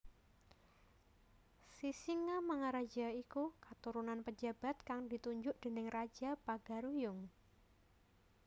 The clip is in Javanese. Sisingamangaraja iku keturunan pejabat kang ditunjuk déning raja Pagaruyung